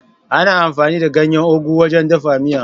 Ana amfani da ganyen Ugu wajen dafa miya.